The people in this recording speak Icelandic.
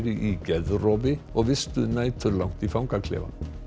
í geðrofi og vistuð næturlangt í fangaklefa